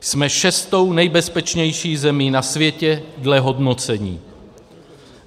Jsme šestou nejbezpečnější zemí na světě dle hodnocení.